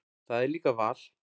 Það er líka val.